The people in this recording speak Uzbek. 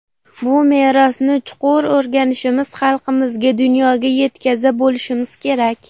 Bu merosni chuqur o‘rganishimiz, xalqimizga, dunyoga yetkaza bilishimiz kerak.